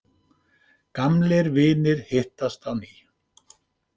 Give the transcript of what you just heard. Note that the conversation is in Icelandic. Gamlir vinir hittast á ný.